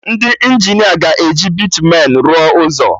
Ndị Injinia ga-eji bịtumen rụọ ụzọ